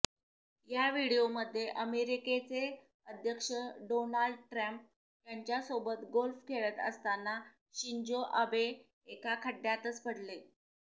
या व्हिडिओमध्ये अमेरिकेचे अध्यक्ष डोनाल्ड ट्रम्प यांच्यासोबत गोल्फ खेळत असताना शिंजो आबे एका खड्यातच पडले